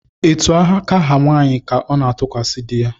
Etu aka ha nwanyị ka ọ na-atụkwasị di ya